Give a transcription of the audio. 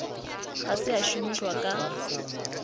ga se a šomišwa ka